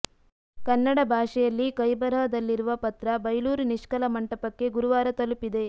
ಕನ್ನಡ ಭಾಷೆಯಲ್ಲಿಕೈ ಬರಹದಲ್ಲಿರುವ ಪತ್ರ ಬೈಲೂರು ನಿಷ್ಕಲ ಮಂಟಪಕ್ಕೆ ಗುರುವಾರ ತಲುಪಿದೆ